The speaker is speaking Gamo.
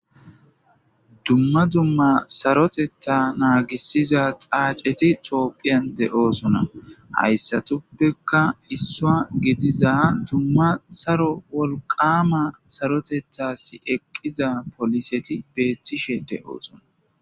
Dumma dumma saroteta naagisiza xaaceti toopphiyan de7oosona hayssatuppekka issoa gidiza dumma saro wolqama sarotethas eqqiza poliseti beethtishe de7oosona